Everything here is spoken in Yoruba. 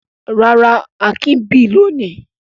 Rárá, Akin bì lónìí.